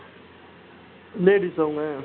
ladies ஆ அவங்க